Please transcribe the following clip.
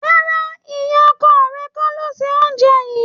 Rárá, ìyá ọkọ rẹ kọ́ ló se oúnjẹ yìí.